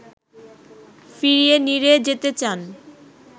ফিরিয়ে নিরে যেতে চান